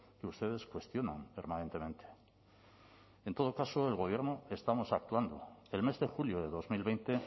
que ustedes cuestionan permanentemente en todo caso el gobierno estamos actuando el mes de julio de dos mil veinte